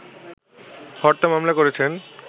হত্যা মামলা করেছেন